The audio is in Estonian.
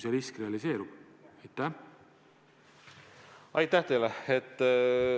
Aitäh!